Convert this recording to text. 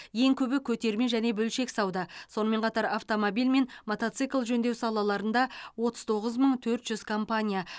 ең көбі көтерме және бөлшек сауда сонымен қатар автомобиль мен мотоцикл жөндеу салаларында отыз тоғыз мың төрт жүз компания